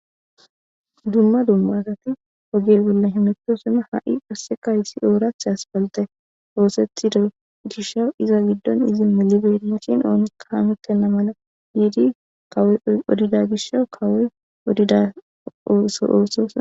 Dumma dumma asat oge bolla hamutosona, ha' hays qaseka ooratha asphalte othetido gishaw iza gidon melibeyinashn oonika hamutena mala gid kawoy be odida gishaw kawoy odida oso othoson...